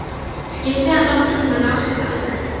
Skyldi hann nokkurn tíma ná sér alveg?